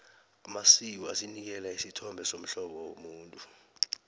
amasiko asinikela isithombe somhlobo womuntu